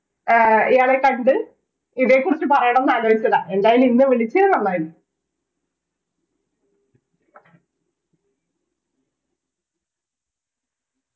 അഹ് ഇയാളെ കണ്ട് ഇതേക്കുറിച്ച് പറയാനെന്നാഗ്രഹിച്ചതാ ഏതായാലും ഇന്ന് വിളിച്ചത് നന്നായി